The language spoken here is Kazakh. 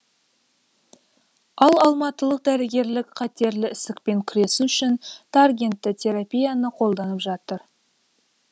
ал алматылық дәрігерлік қатерлі ісікпен күресу үшін таргентті терапияны қолданып жатыр